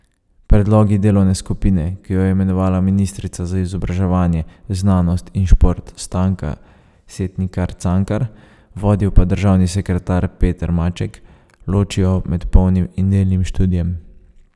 Predlogi delovne skupine, ki jo je imenovala ministrica za izobraževanje, znanost in šport Stanka Setnikar Cankar, vodil pa državni sekretar Peter Maček, ločijo med polnim in delnim študijem.